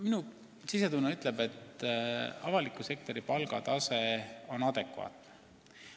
Minu sisetunne ütleb, et avaliku sektori palgatase on adekvaatne.